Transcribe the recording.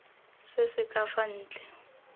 se se ka fa ntle